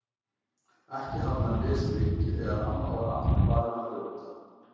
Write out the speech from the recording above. Ekki hafði hann lesið lengi þegar amma var aftur farin að hrjóta.